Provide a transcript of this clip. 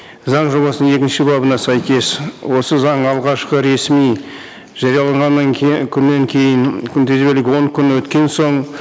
заң жобасының екінші бабына сәйкес осы заң алғашқы ресми жарияланғаннан күннен кейін күнтізбелік он күн өткен соң